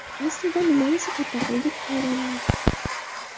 Aslida nimani sug‘urta qildik, hayronman.